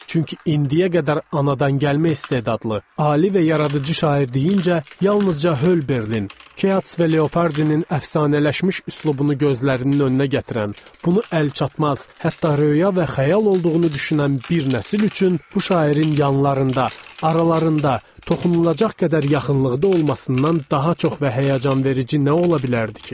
Çünki indiyə qədər anadan gəlmə istedadlı, ali və yaradıcı şair deyincə yalnızca Holberlin, Keats və Leopardinin əfsanələşmiş üslubunu gözlərinin önünə gətirən, bunu əlçatmaz, hətta röya və xəyal olduğunu düşünən bir nəsil üçün bu şairin yanlarında, aralarında, toxunulacaq qədər yaxınlıqda olmasından daha çox və həyəcanverici nə ola bilərdi ki?